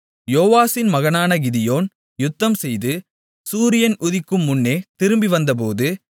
யோவாசின் மகனான கிதியோன் யுத்தம்செய்து சூரியன் உதிக்கும் முன்னே திரும்பிவந்தபோது